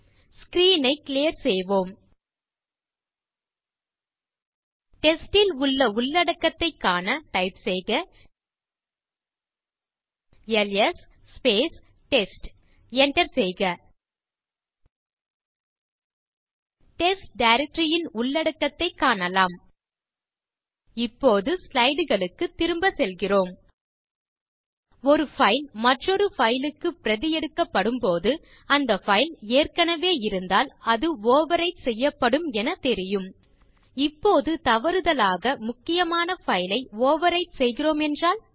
screen ஐ clear செய்வோம் test ல் உள்ள உள்ளடக்கத்தைக் காண டைப் செய்க எல்எஸ் டெஸ்ட் enter செய்க டெஸ்ட் டைரக்டரி ன் உள்ளடக்கத்தைக் காணலாம் இப்போது ஸ்லைடு களுக்குத் திரும்ப செல்கிறோம் ஒரு பைல் மற்றொரு பைல் க்கு பிரதி எடுக்கப்படும்போது அந்த பைல் ஏற்கனவே இருந்தால் அது ஓவர்விரைட் செய்யப்படும் என தெரியும் இப்போது தவறுதலாக முக்கியமான பைல் ஐ ஓவர்விரைட் செய்கிறோம் என்றால்